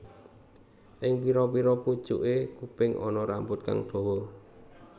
Ing pira pira pucuke kuping ana rambut kang dawa